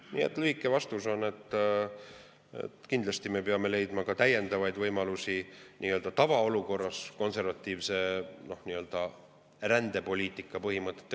Nii et lühike vastus on, et kindlasti me peame leidma täiendavaid võimalusi nii-öelda tavaolukorras kaitsta konservatiivse rändepoliitika põhimõtteid.